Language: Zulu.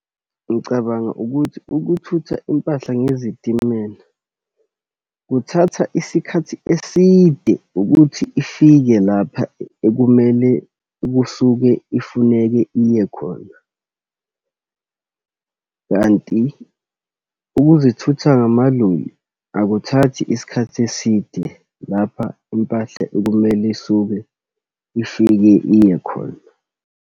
Ngicabanga ukuthi ukuthutha impahla ngezitimela, kuthatha isikhathi eside ukuthi ifike lapha ekumele kusuke ifuneke iye khona. Kanti ukuzithutha ngamaloli akuthathi iskhathi eside lapha impahla ekumele isuke ifike iye khona.